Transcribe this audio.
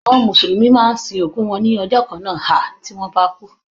Àwọn mùsùlùmí máa ń sin òkú wọn ní ọjọ́ kan na hà tí wọ́n bá kú.